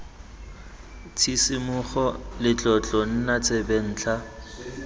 tshisimogo le tlotlo nna tsebentlha